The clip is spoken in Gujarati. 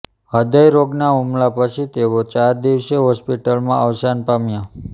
હૃદય રોગના હુમલા પછી તેઓ ચાર દિવસે હોસ્પીટલમાં અવસાન પામ્યાં